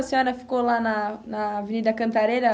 A senhora ficou lá na na Avenida Cantareira...